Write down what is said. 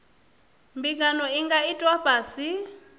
mbingano i nga itwa ngafhi